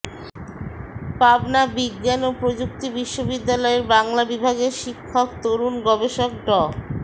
পাবনা বিজ্ঞান ও প্রযুক্তি বিশ্ববিদ্যালয়ের বাংলা বিভাগের শিক্ষক তরুণ গবেষক ড